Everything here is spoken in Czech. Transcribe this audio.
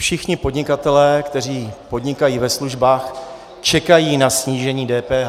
Všichni podnikatelé, kteří podnikají ve službách, čekají na snížení DPH.